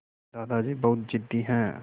दादाजी बहुत ज़िद्दी हैं